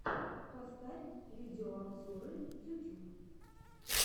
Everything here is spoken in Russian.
поставь видеообзоры ютьюб